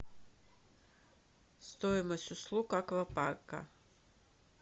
стоимость услуг аквапарка